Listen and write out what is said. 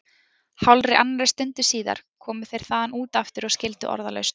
Hálfri annarri stundu síðar komu þeir þaðan út aftur og skildu orðalaust.